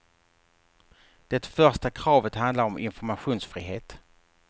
Det första kravet handlar om informationsfrihet.